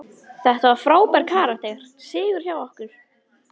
Þetta var frábær karakter sigur hjá okkur.